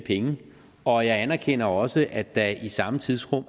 penge og jeg anerkender også at der i samme tidsrum